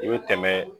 I bɛ tɛmɛ